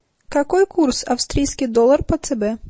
какой курс австрийский доллар по цб